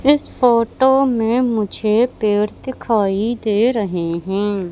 इस फोटो में मुझे पेड़ दिखाई दे रहे हैं।